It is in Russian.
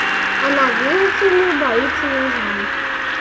она видите ли боится южан